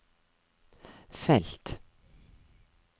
felt